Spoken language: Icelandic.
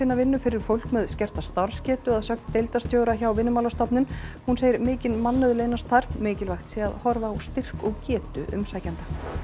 vinnu fyrir fólk með skerta starfsgetu að sögn deildarstjóra hjá Vinnumálastofnun hún segir mikinn mannauð leynast þar mikilvægt sé að horfa á styrk og getu umsækjenda